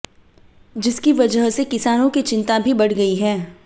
जिसकी वजह से किसानों की चिंता भी बढ़ गई है